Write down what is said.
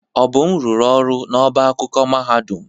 Obum rụrụ ọrụ n'ọbá akwụkwọ mahadum.